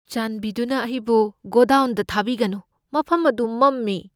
ꯆꯥꯟꯕꯤꯗꯨꯅ ꯑꯩꯕꯨ ꯒꯣꯗꯥꯎꯟꯗ ꯊꯥꯕꯤꯒꯅꯨ꯫ ꯃꯐꯝ ꯑꯗꯨ ꯃꯝꯃꯤ꯫